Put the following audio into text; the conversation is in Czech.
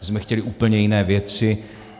My jsme chtěli úplně jiné věci.